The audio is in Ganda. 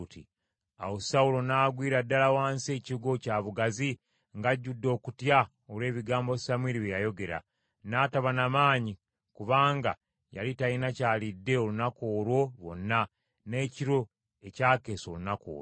Awo Sawulo n’agwira ddala wansi ekigwo kya bugazi, ng’ajjudde okutya olw’ebigambo Samwiri bye yayogera. N’ataba na maanyi kubanga yali talina ky’alidde olunaku olwo lwonna n’ekiro ekyakeesa olunaku olwo.